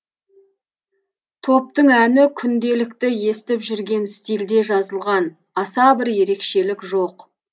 топтың әні күнделікті естіп жүрген стильде жазылған аса бір ерекшелік жоқ